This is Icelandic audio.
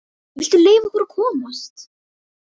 VILTU LEYFA OKKUR AÐ KOMAST!